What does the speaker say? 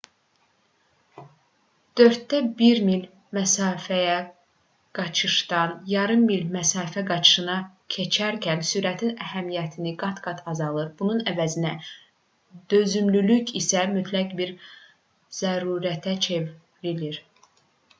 dörddə bir mil məsafəyə qaçışdan yarım mil məsafə qaçışına keçərkən sürətin əhəmiyyəti qat-qat azalır bunun əvəzinə dözümlülük isə mütləq bir zərurətə çevrilir